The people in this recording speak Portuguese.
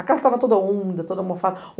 A casa estava toda úmida, toda mofada.